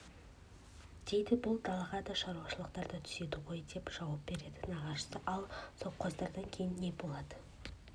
дейді бұл далаға да шаруашылықтар түседі ғой деп жауап береді нағашысы ал совхоздар кейін не болады